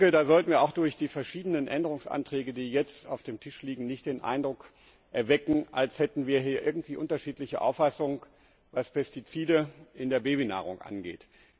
Da sollten wir auch durch die verschiedenen Änderungsanträge, die jetzt auf dem Tisch liegen, nicht den Eindruck erwecken, als hätten wir hier irgendwie unterschiedliche Auffassungen, was Pestizide in der Babynahrung angeht.